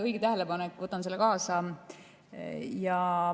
Õige tähelepanek, võtan selle kaasa.